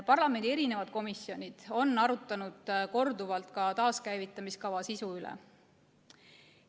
Parlamendi komisjonid on arutanud korduvalt ka taaskäivitamiskava sisu üle.